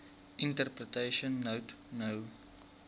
interpretation note no